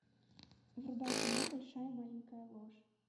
врубай кино большая маленькая ложь